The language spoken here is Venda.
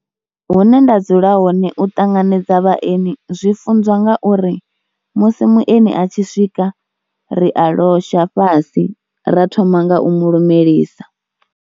Hune nda dzula hone u ṱanganedza vhaeni zwi funziwa nga uri musi mueni a tshi swika ri a losha fhasi ra thoma nga u mu lumelisa.